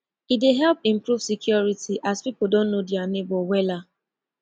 e dey help improve security as pipo don know dia neibor wella